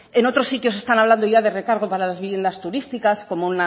en otros sitios están hablando ya de recargo para las viviendas turísticas como